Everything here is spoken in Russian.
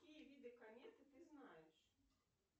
какие виды кометы ты знаешь